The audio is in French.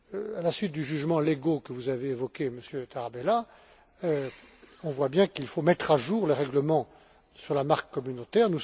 À la suite du jugement Lego que vous avez évoqué, Monsieur Tarabella, on voit bien qu'il faut mettre à jour le règlement sur la marque communautaire.